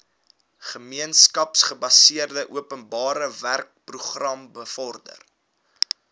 gemeenskapsgebaseerde openbarewerkeprogram bevorder